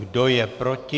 Kdo je proti?